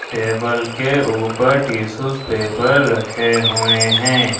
Table के ऊपर tissues paper रखे हुए हैं।